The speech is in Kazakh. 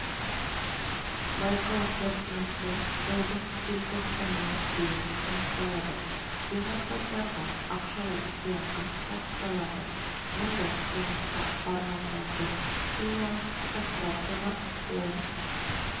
байқау қорытындысы жылдың желтоқсанына дейін анықталады жеңімпаздарға ақшалай сыйақы табысталады мұндай қылмысқа барғандарды химиялық кастрациялап он